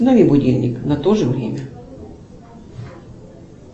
установи будильник на то же время